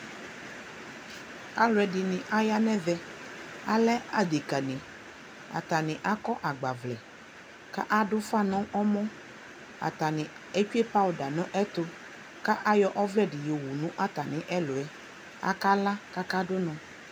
alʋɛdini aya nʋ ɛvɛ, alɛ adɛka ni, atani akɔ agbavlɛ kʋ adʋ ʋƒa nʋ ɛmɔ, atani ɛtwɛ powder nʋ ɛtʋ kʋatami ayɔ ɔvlɛ dini yɔ wʋ nʋ atami ɛlʋɛ, aka la kʋ aka dʋ ɔnɔ